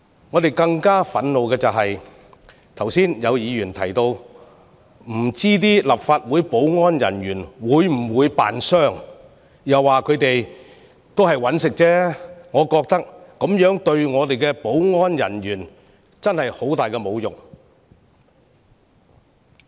我們更感憤怒的是，有議員剛才說不知道立法會保安人員會否扮受傷，又說他們只是為了糊口，我認為對我們的保安人員是很大的侮辱。